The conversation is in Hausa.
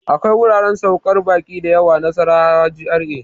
akwai wuraren saukar baƙi da yawa Nasarawa GRA.